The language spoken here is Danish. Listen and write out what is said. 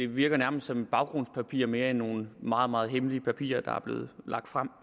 virker som et baggrundspapir mere end nogle meget meget hemmelige papirer der er blevet lagt frem